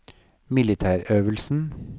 militærøvelsen